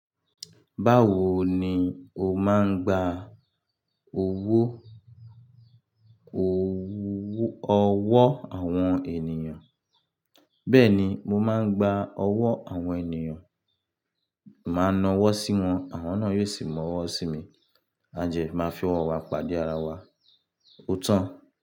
Báwo ni o máa ń gba owó ọwọ́ àwọn ènìyàn? Bẹ́ẹ̀ni, mo máa ń gba ọwọ́ àwọn ènìyàn, màá na ọwọ́ sí wọn, àwọn náà yóò sì mú ọwọ́ sí mi, àjẹ́ máa fi ọwọ́ wa pàdé ara wa, ó tán.